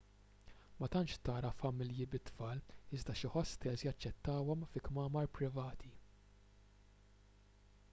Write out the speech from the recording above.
ma tantx tara familji bit-tfal iżda xi ħostels jaċċettawhom fi kmamar privati